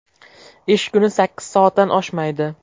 Ish kuni sakkiz soatdan oshmaydi.